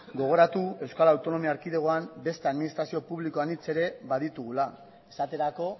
gogoratu euskal autonomia erkidegoan beste administrazio publiko anitz ere baditugula esaterako